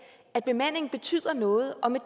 at bemandingen betyder noget og med